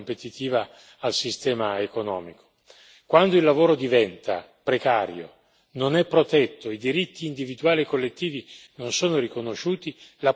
Quando il lavoro diventa precario e non è protetto e i diritti individuali e collettivi non sono riconosciuti la produttività ne risente inevitabilmente.